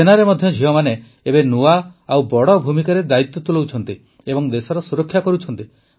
ସେନାରେ ମଧ୍ୟ ଝିଅମାନେ ଏବେ ନୂଆ ଓ ବଡ଼ ଭୂମିକାରେ ଦାୟିତ୍ୱ ତୁଲାଉଛନ୍ତି ଏବଂ ଦେଶର ସୁରକ୍ଷା କରୁଛନ୍ତି